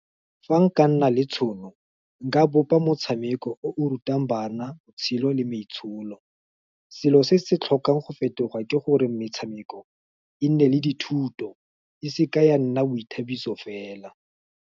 Fa nka nna le tšhono, nka bopa motshameko o o rutang bana, botshelo, le maitsholo, selo se se tlhokang go fetoga ke gore metshameko, e nne le dithuto, e seke ya nna boithabiso fela.